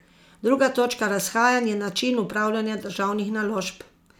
Druga točka razhajanj je način upravljanja državnih naložb.